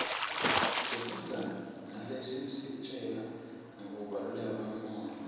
sifundza naletisitjela ngekubaluleka kwemfundvo